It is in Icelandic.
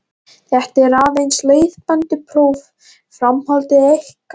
Þetta er aðeins leiðbeinandi próf, framhaldið er ykkar.